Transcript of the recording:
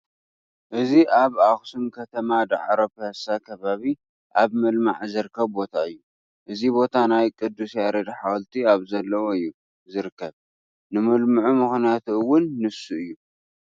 እዚ ኣብ ኣኽሱም ከተማ ዳዕሮ ፒያሳ ከባቢ ኣብ ምልማዕ ዝርከብ ቦታ እዩ፡፡ እዚ ቦታ ናይ ቅዱስ ያሬድ ሓወልቲ ኣብዘለዎ እዩ፡፡ ዝርከብ፡፡ ንምልምዑ ምኽንያት አውን ንሱ እዩ፡፡